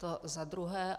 To za druhé.